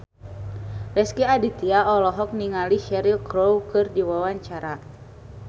Rezky Aditya olohok ningali Cheryl Crow keur diwawancara